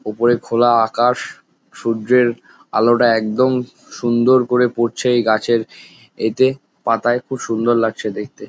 উপরে খোলা আকাশ সূর্যের আলোটা একদম সুন্দর করে পড়ছে এই গাছের এতে পাতায় খুব সুন্দর লাগছে দেখতে ।